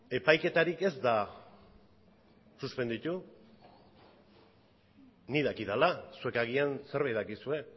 epaiketarik ez da suspenditu ni dakidala zuek agian zerbait dakizue